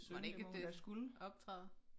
Mon ikke at det optræder